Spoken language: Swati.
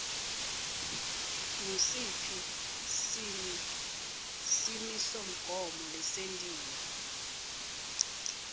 ngusiphi simisomgomo lesentiwe